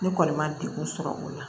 Ne kɔni ma degun sɔrɔ o la